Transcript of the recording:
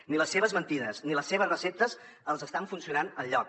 ni les seves mentides ni les seves receptes els estan funcionant enlloc